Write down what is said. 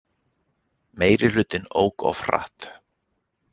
Meirihlutinn ók of hratt